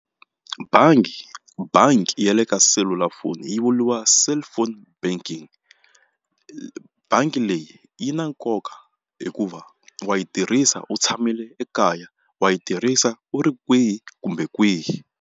Bangi bangi ya le ka selulafoni yi vuriwa cellphone banking bangi leyi yi na nkoka hikuva wa yi tirhisa u tshamile ekaya wa yi tirhisa u ri kwihi kumbe kwihi.